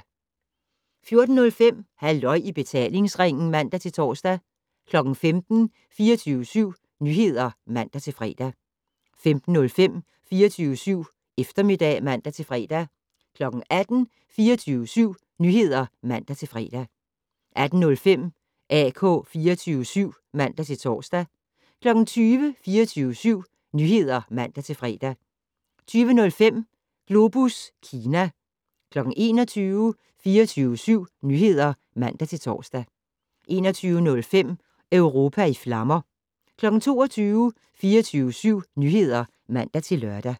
14:05: Halløj i betalingsringen (man-tor) 15:00: 24syv Nyheder (man-fre) 15:05: 24syv Eftermiddag (man-fre) 18:00: 24syv Nyheder (man-fre) 18:05: AK 24syv (man-tor) 20:00: 24syv Nyheder (man-fre) 20:05: Globus Kina 21:00: 24syv Nyheder (man-tor) 21:05: Europa i flammer 22:00: 24syv Nyheder (man-lør)